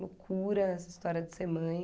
Loucura essa história de ser mãe.